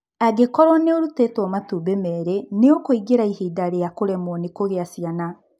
Angĩkorũo nĩ ũrutĩtwo matumbĩ merĩ, nĩ ũkũingĩra ihinda rĩa kũremwo nĩ kũgĩa ciana.